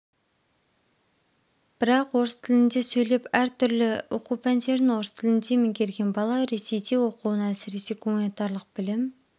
бірақ орыс тілінде сөйлеп әртүрлі оқу пәндерін орыс тілінде меңгерген бала ресейде оқуын әсіресе гуманитарлық білім